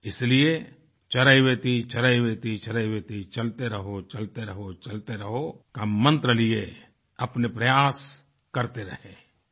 इसीलिएचरैवेतिचरैवेतिचरैवेति चलते रहोचलते रहोचलते रहो का मन्त्र लिए अपने प्रयास करते रहें l